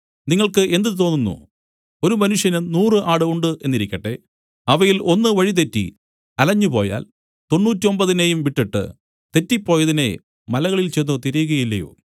നിങ്ങൾക്ക് എന്ത് തോന്നുന്നു ഒരു മനുഷ്യന് നൂറു ആട് ഉണ്ട് എന്നിരിക്കട്ടെ അവയിൽ ഒന്ന് വഴിതെറ്റി അലഞ്ഞു പോയാൽ തൊണ്ണൂറ്റൊമ്പതിനെയും വിട്ടിട്ട് തെററിപ്പോയതിനെ മലകളിൽ ചെന്ന് തിരയുകയില്ലയോ